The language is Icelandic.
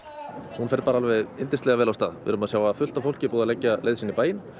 hún fer bara yndislega vel af stað við erum að sjá það er fullt af fólki búið að leggja leið sína í bæinn